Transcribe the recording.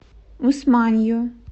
усманью